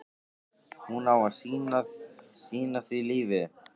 Hún á að sýna því lífið.